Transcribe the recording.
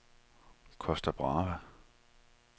Costa Brava